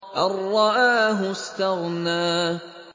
أَن رَّآهُ اسْتَغْنَىٰ